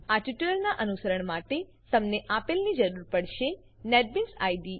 આ ટ્યુટોરીયલનાં અનુસરણ માટે તમને આપેલની જરૂર પડશે નેટબીન્સ આઈડીઈ